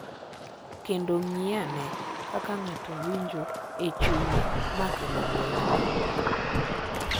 Kendo ng’i ane kaka ng’ato winjo e chunye ma kelo lwenyno.